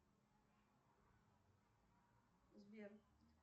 сбер